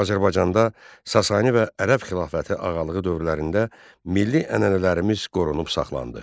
Azərbaycanda Sasani və Ərəb xilafəti ağalığı dövrlərində milli ənənələrimiz qorunub saxlandı.